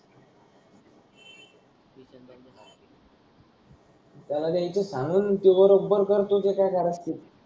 त्याला तर इतून सांगाच ते बरोबर करते जे काय कारच